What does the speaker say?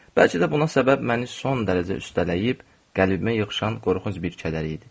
Bəlkə də buna səbəbi son dərəcə üstələyib qəlbimə ilişən qorxunc bir kədər idi.